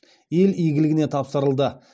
ел игіліне тапсырылды